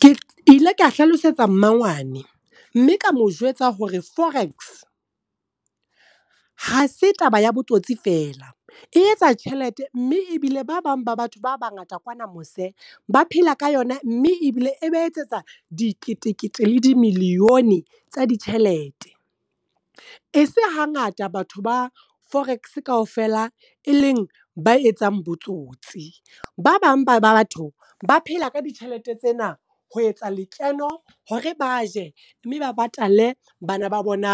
Ke ile ka hlalosetsa mmangwane, mme ka mo jwetsa hore forex ha se taba ya botsotsi fela. E etsa tjhelete, mme ebile ba bang ba batho ba bangata kwana mose, ba phela ka yona mme ebile e ba etsetsa diketekete le dimillione tsa ditjhelete. E se hangata batho ba forex kaofela e leng ba etsang botsotsi. Ba bang ba ba batho ba phela ka ditjhelete tsena ho etsa lekeno hore ba je, mme ba patale bana ba bona